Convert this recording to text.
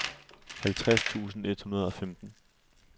halvtreds tusind et hundrede og femten